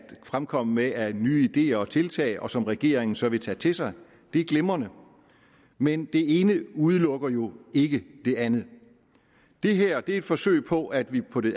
fremkomme med af nye ideer og tiltag og som regeringen så vil tage til sig det er glimrende men det ene udelukker jo ikke det andet det her er et forsøg på at vi på det